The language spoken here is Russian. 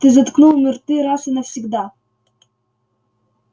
ты заткнул им рты раз и навсегда